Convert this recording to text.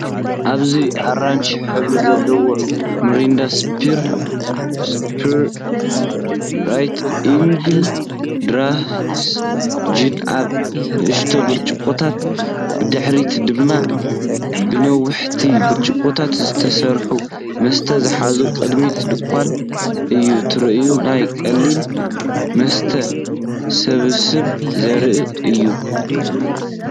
ኣብዚ ኣራንሺ ሕብሪ ዘለዋ ሚሪንዳ፡ ሱፐር ኢግል ድራይ ጂን ኣብ ንኣሽቱ ብርጭቆታት፡ ብድሕሪት ድማ ብነዋሕቲ ብርጭቆታት ዝተሰርዐ መስተ ዝሓዘ ቅድሚት ድኳን እዩ። ትርኢት ናይ ቀሊል መስተ ስብስብ ዘርኢ እዩ ።